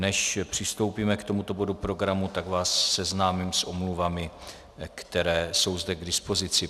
Než přistoupíme k tomuto bodu programu, tak vás seznámím s omluvami, které jsou zde k dispozici.